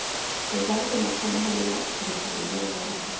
Við verðum að koma henni í lestina, sagði Jón Ólafur.